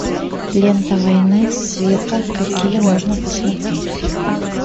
лента войны света какие можно посмотреть